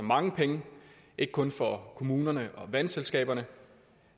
mange penge ikke kun for kommunerne og vandselskaberne